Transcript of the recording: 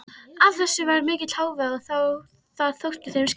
Af þessu varð mikill hávaði og það þótti þeim skemmtilegt.